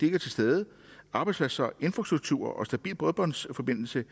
er til stede arbejdspladser infrastrukturer stabil bredbåndsforbindelse